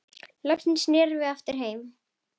Loksins snerum við aftur heim.